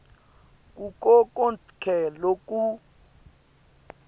kuko konkhe loku